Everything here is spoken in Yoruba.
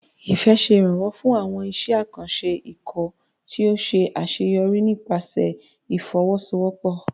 Ifẹ̀ ṣe ìrànwọ́ fún àwọn iṣẹ́ àkànṣe ikọ̀ tí ó ṣe àṣeyọrí nípasẹ̀ ìfọwọ́sowọ́pọ̀.